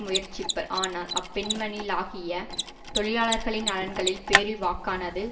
முயற்சிப்பர் ஆனால் அப்பெண்மணி லாகிய தொழிலாளர்களின் நலன்களின் பேரில் வாக்கானது